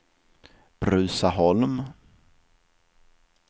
Bruzaholm